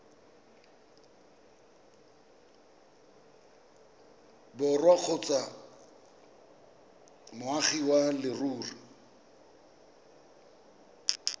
borwa kgotsa moagi wa leruri